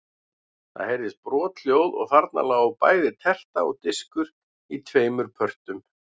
Það heyrðist brothljóð og þarna lágu bæði terta og diskur í tveimur pörtum.